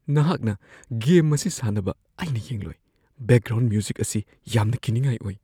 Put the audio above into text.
ꯅꯍꯥꯛꯅ ꯒꯦꯝ ꯑꯁꯤ ꯁꯥꯟꯅꯕ ꯑꯩꯅ ꯌꯦꯡꯂꯣꯏ꯫ ꯕꯦꯛꯒ꯭ꯔꯥꯎꯟ ꯃ꯭ꯌꯨꯖꯤꯛ ꯑꯁꯤ ꯌꯥꯝꯅ ꯀꯤꯅꯤꯉꯥꯏ ꯑꯣꯏ꯫